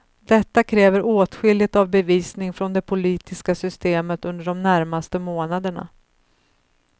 Detta kräver åtskilligt av bevisning från det politiska systemet under de närmaste månaderna.